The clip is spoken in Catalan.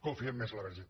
confiem més en la verge